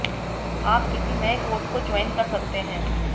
आप किसी नए कोर्स को ज्वॉइन कर सकते हैं